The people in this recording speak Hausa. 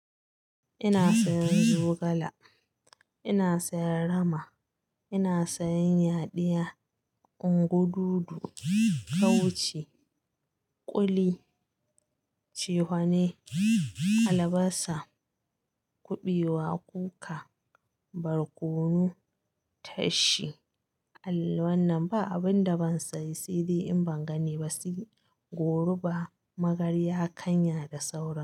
Ina sayan zogala, ina sayan rama, ina sayan yadiya, ungu dudu, kauci, kuli, cehwane, albasa, kuɓewa, kuka, barkono, tashi. Al wannan ba abin da ban sayi sai dai in ban gane ba sai goba, magarya, kanya da saura.